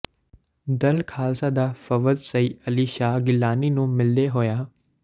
ਦਲ ਖਾਲਸਾ ਦਾ ਵਫਦ ਸਈਦ ਅਲੀ ਸ਼ਾਹ ਗਿਲਾਨੀ ਨੂੰ ਮਿਲਦੇ ਹੋਇਆ